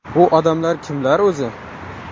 Bu odamlar kimlar o‘zi?